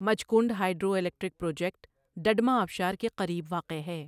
Machkund hydro electric project Duduma آبشار کے قریب واقع ہے۔